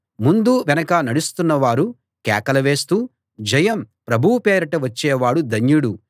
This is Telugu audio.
ముందు వెనక నడుస్తున్న వారు కేకలు వేస్తూ జయం ప్రభువు పేరిట వచ్చేవాడు ధన్యుడు